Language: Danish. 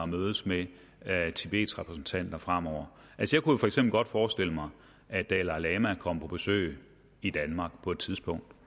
mødes med tibets repræsentanter fremover jeg kunne for eksempel godt forestille mig at dalai lama kom på besøg i danmark på et tidspunkt